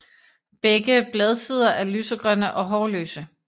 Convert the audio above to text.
Begge bladsider er lysegrønne og hårløse